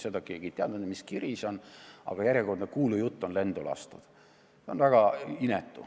Seda keegi ei tea, mis kiri see oli, aga järjekordne kuulujutt on lendu lastud.